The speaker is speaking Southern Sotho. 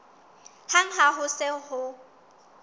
hang ha ho se ho